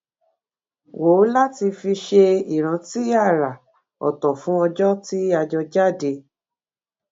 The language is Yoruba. wò láti fi ṣe ìrántí àrà òtò fún ọjó tí a jọ jáde